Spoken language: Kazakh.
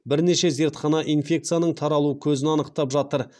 бірнеше зертхана инфекцияның таралу көзін анықтап жатыр